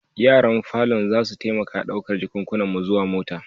Yaran falon zasu taimaka ɗaukar jakunkunan ku zuwa mota.